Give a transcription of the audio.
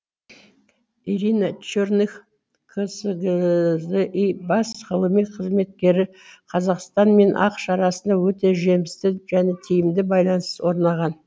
ирина черных қсзи бас ғылыми қызметкері қазақстан мен ақш арасында өте жемісті және тиімді байланыс орнаған